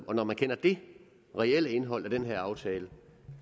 og når man kender det reelle indhold af den her aftale